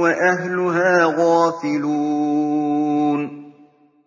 وَأَهْلُهَا غَافِلُونَ